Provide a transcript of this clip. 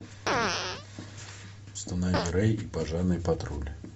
установи рэй и пожарный патруль